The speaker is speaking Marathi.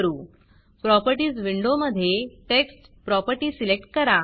Propertiesप्रॉपर्टीस विंडोमधे Textटेक्स्ट प्रॉपर्टी सिलेक्ट करा